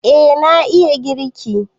Eh na iya girki